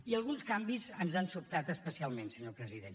i alguns canvis ens han sobtat especialment senyor president